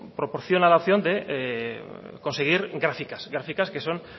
proporciona la opción de conseguir gráficas graficas que son